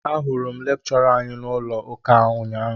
Ahụrụ m lekchọra anyị n'ụlọ ụka ụnyaahụ